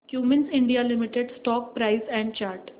Cummins India limited stock price and chart